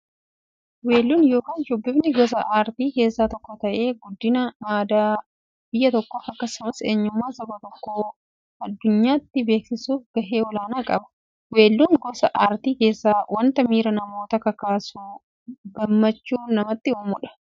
Weelluun yookin shubbifni gosa aartii keessaa tokko ta'ee, guddina aadaa biyya tokkoof akkasumas eenyummaa saba tokkoo addunyyaatti beeksisuuf gahee olaanaa qaba. Weelluun gosa artii keessaa wanta miira namootaa kakaasuufi gammachuu namatti uummudha.